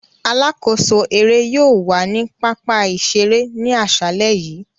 Alakoso ere yóò wa ni papa-iṣere ni aṣalẹ yii.